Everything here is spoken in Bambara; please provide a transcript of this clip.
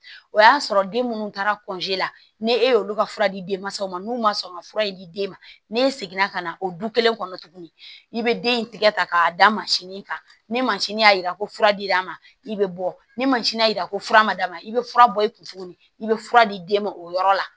O y'a sɔrɔ den minnu taara la ne ye olu ka fura di denmasaw ma n'u ma sɔn ka fura in di den ma n'e seginna ka na o du kelen kɔnɔ tuguni i bɛ den in tigɛ k'a da masini kan ni mansinin y'a jira ko fura dir'a ma i bɛ bɔ ni mansin y'a jira ko fura ma da ma i bɛ fura bɔ i kun tuguni i bɛ fura di den ma o yɔrɔ la